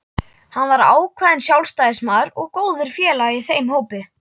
Hann var ákveðinn sjálfstæðismaður og góður félagi í þeim hópi.